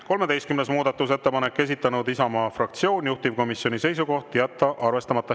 13. muudatusettepanek, esitanud Isamaa fraktsioon, juhtivkomisjoni seisukoht: jätta arvestamata.